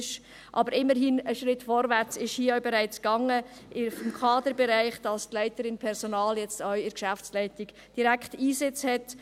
Aber immerhin ging es hier im Kaderbereich bereits einen Schritt vorwärts, sodass die Leiterin Personal jetzt auch direkt in der Geschäftsleitung Einsitz hat.